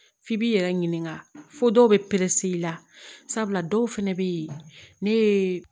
F'i b'i yɛrɛ ɲininka fo dɔw bɛ perese i la sabula dɔw fana bɛ yen ne ye